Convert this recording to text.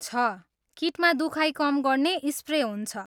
छ, किटमा दुखाइ कम गर्ने स्प्रे हुन्छ।